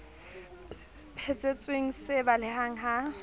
phe thetsweng se baleha ha